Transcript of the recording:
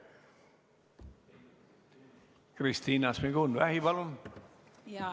Kristina Šmigun-Vähi, palun!